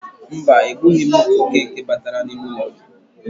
Mba, egbughi m oke nke batara n'ime ụlọ gị.